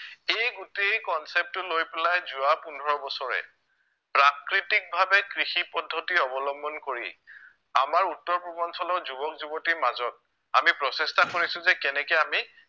এই গোটেই concept টো লৈ পেলাই যোৱা পোন্ধৰ বছৰে প্ৰাকৃতিকভাৱে কৃষি পদ্ধতি অৱলম্বন কৰি আমাৰ উত্তৰ পূৰ্বাঞ্চলৰ যুৱক যুৱতিৰ মাজত আমি প্ৰচেষ্টা চলাইছো যে কেনেকে আমি